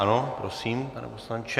Ano, prosím, pane poslanče.